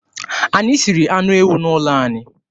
Anyị siri anụ ewu n'ụlọ anyị.